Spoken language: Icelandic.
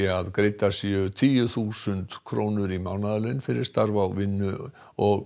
að greiddar séu tíu þúsund krónur í mánaðarlaun fyrir starf á vinnu og